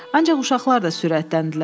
Ancaq uşaqlar da sürətləndilər.